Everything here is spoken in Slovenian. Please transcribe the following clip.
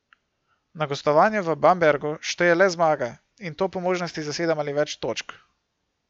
Na gostovanju v Bambergu šteje le zmaga in to po možnosti za sedem ali več točk.